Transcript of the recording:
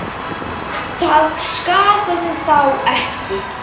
Það skaðaði þá ekki.